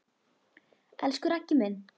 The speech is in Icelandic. Elsku Raggi minn!